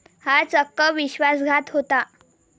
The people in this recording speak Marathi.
हा चक्क विश्वासघात होता.